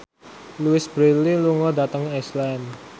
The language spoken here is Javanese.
Louise Brealey lunga dhateng Iceland